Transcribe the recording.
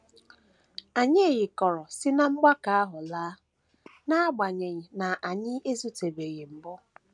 Anyị yịkọrọ si ná mgbakọ ahụ laa, n’agbanyeghị na anyị ezutetụbeghị mbụ.